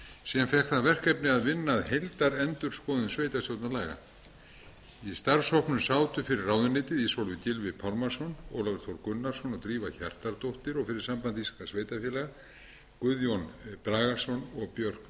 sem fékk það verkefni að vinna að heildarendurskoðun sveitarstjórnarlaga í starfshópnum sátu fyrir ráðuneytið ísólfur gylfi pálmason ólafur þór gunnarsson og drífa hjartardóttir og fyrir samband íslenskra sveitarfélaga guðjón bragason og björk